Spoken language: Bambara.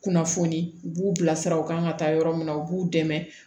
Kunnafoni u b'u bilasira u kan ka taa yɔrɔ min na u b'u dɛmɛ